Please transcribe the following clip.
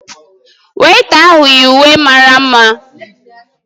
Weịta ahụ yi uwe mara mma taa